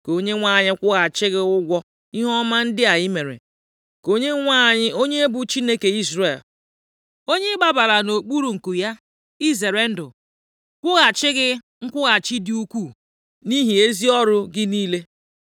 Ka Onyenwe anyị kwụghachi gị ụgwọ ihe ọma ndị a i mere. Ka Onyenwe anyị onye bụ Chineke Izrel, onye ị gbabara nʼokpuru nku ya izere ndụ kwụghachi gị nkwụghachi dị ukwu nʼihi ezi ọrụ gị niile.”